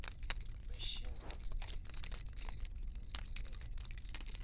machines dzi do tea u